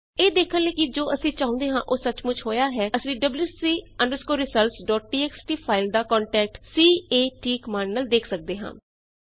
ਇਹ ਦੇਖਣ ਲਈ ਕਿ ਜੋ ਅਸੀਂ ਚਾਹੁੰਦੇ ਸੀ ਓਹ ਸੱਚਮੁਚ ਹੋਇਆ ਹੈ ਅਸੀ wc results dot TXT file ਦਾ content c a t command ਨਾਲ ਦੇਖ ਸਕਦੇ ਹਾਂ